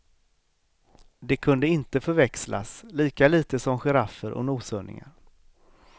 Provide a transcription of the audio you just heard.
De kunde inte förväxlas, lika litet som giraffer och noshörningar.